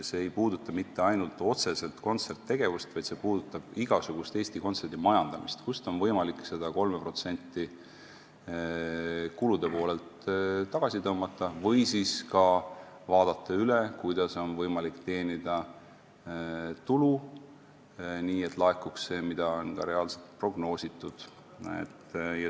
See ei puuduta mitte ainult otseselt kontserttegevust, vaid see puudutab igasugust Eesti Kontserdi majandamist, tuleb vaadata, kust on kulude poolelt võimalik 3% tagasi tõmmata, või tuleb vaadata üle, kuidas on võimalik teenida tulu, nii et laekuks see, mida on reaalselt prognoositud.